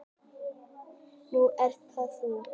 Nú ert það þú.